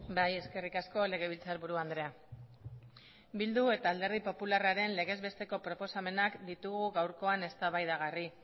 bai eskerrik asko legebiltzarburu andrea bildu eta alderdi popularraren legez besteko proposamenak ditugu gaurkoan eztabaidagarri